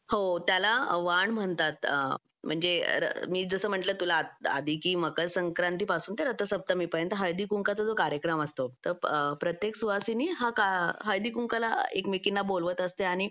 हो त्याला वाण म्हणतात म्हणजे मी जसं म्हणलं तुला आधी की मकर संक्रांत पासून ते रथसप्तमी पर्यंत हळदी कुंकाचा जो कार्यक्रम असतो तर प्रत्येक सुवासिनी हा हळदी कुंकाला एकमेकींना बोलवत असते आणि